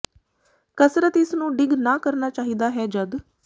ਕਸਰਤ ਇਸ ਨੂੰ ਡਿੱਗ ਨਾ ਕਰਨਾ ਚਾਹੀਦਾ ਹੈ ਜਦ